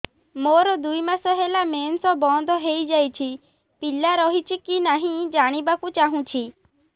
ମୋର ଦୁଇ ମାସ ହେଲା ମେନ୍ସ ବନ୍ଦ ହେଇ ଯାଇଛି ପିଲା ରହିଛି କି ନାହିଁ ଜାଣିବା କୁ ଚାହୁଁଛି